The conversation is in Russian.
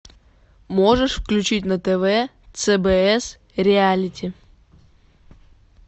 можешь включить на тв цбс реалити